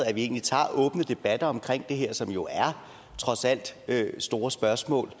at vi egentlig tager åbne debatter om det her som jo trods alt er store spørgsmål